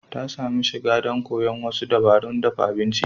Ta samu shiga don koyon wasu dabarun dafa abinci.